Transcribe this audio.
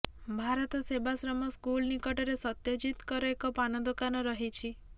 Bharat Sevashram school ନିକଟରେ ସତ୍ୟଜିତଙ୍କର ଏକ ପାନ ଦୋକାନ ରହିଛି